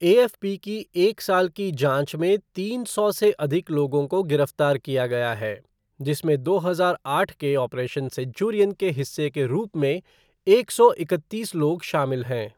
AFP की एक साल की जाँच में तीन सौ से अधिक लोगों को गिरफ्तार किया गया है, जिसमें दो हजार आठ के ऑपरेशन सेंचुरियन के हिस्से के रूप में एक सौ इकतीस लोग शामिल हैं।